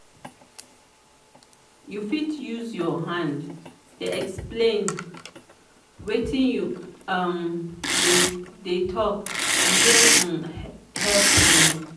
you fit use your hand dey explain wetin you um dey tok e dey um help. um